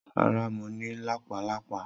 Rara, Mo ni lápá lápá.